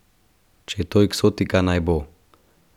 Če je to eksotika, naj bo!